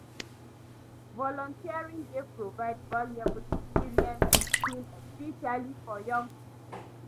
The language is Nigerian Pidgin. Volunteering dey provide valuable experience and skills, especially for young people.